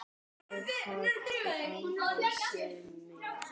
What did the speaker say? Ég hafði aldrei séð þig.